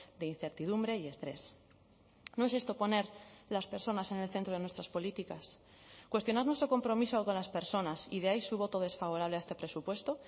de incertidumbre y estrés no es esto poner las personas en el centro de nuestras políticas cuestionar nuestro compromiso con las personas y de ahí su voto desfavorable a este presupuesto